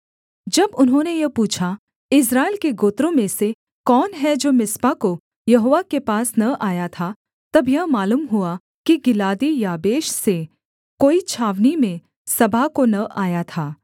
जब उन्होंने यह पूछा इस्राएल के गोत्रों में से कौन है जो मिस्पा को यहोवा के पास न आया था तब यह मालूम हुआ कि गिलादी याबेश से कोई छावनी में सभा को न आया था